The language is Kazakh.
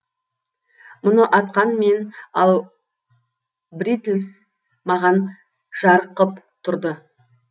мұны атқан мен ал бритлс маған жарық қып тұрды